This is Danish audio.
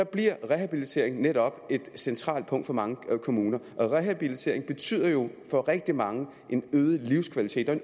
bliver rehabilitering netop et centralt punkt for mange kommuner rehabilitering betyder jo for rigtig mange en øget livskvalitet og